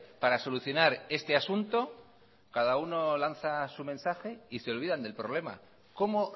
para solucionar este asunto cada uno lanza su mensaje y se olvidan del problema cómo